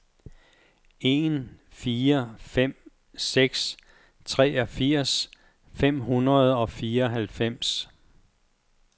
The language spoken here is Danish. en fire fem seks treogfirs fem hundrede og fireoghalvfems